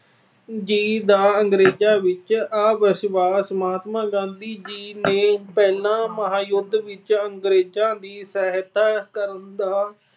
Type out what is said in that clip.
ਜੀ ਦਾ ਅੰਗਰੇਜਾਂ ਵਿੱਚ ਅਵਿਸ਼ਵਾਸ- ਮਹਾਤਮਾ ਗਾਂਧੀ ਜੀ ਨੇ ਪਹਿਲੇ ਮਹਾਂਯੁਧ ਵਿੱਚ ਅੰਗਰੇਜਾਂ ਦੀ ਸਹਾਇਤਾ ਕਰਨ ਦਾ